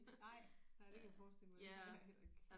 Nej nej det kan jeg forestille mig det ville jeg heller ikke